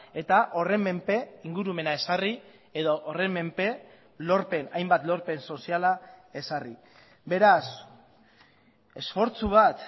eta horren menpe ingurumena ezarri edo horren menpe lorpen hainbat lorpen soziala ezarri beraz esfortzu bat